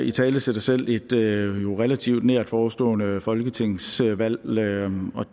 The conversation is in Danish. italesætter selv et relativt nært forestående folketingsvalg og